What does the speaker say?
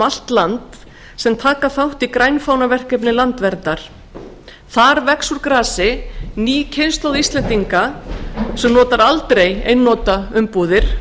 og nítján sem taka þátt í grænfánaverkefni landverndar um allt land þar vex úr grasi ný kynslóð íslendinga sem drekkur hvorki mjólk